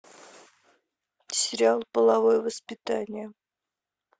сериал половое воспитание